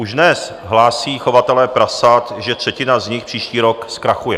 Už dnes hlásí chovatelé prasat, že třetina z nich příští rok zkrachuje.